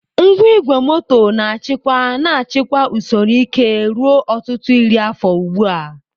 Ngwa igwe moto na-achịkwa na-achịkwa usoro ike ruo ọtụtụ iri afọ ugbu a.